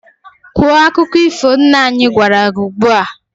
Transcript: Kwuo akụkọ ifo nna anyị gwara gị ugbu a!